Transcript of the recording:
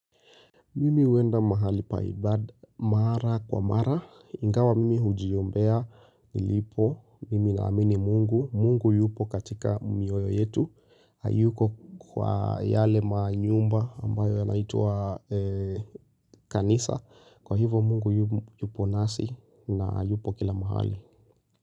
Mimi huenda mahali pa ibada mara kwa mara, ingawa mimi hujiombea nilipo, mimi naamini mungu, mungu yupo katika mioyo yetu, hayupo kwa yale manyumba ambayo yanaitwa kanisa, kwa hivo mungu yupo nasi na yupo kila mahali.